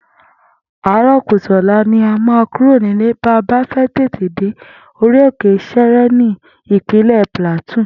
Àárò̩ kùtù ò̩la ni a máa kúrò nílé ba bá fé̩ tètè dé Orí òkè Shere ní Ìpínlè̩ Plateau